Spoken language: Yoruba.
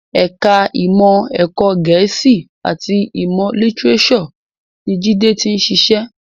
Ẹ̀ka ìmọ̀ ẹ̀kọ́ Gẹ̀ẹ́sì àti ìmọ̀ lítíréṣọ̀ ni Jide ti ń ṣiṣẹ́